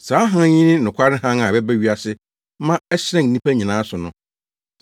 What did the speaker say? Saa hann yi ne nokware hann a ɛba wiase ma ɛhyerɛn nnipa nyinaa so no.